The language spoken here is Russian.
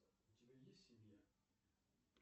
у тебя есть семья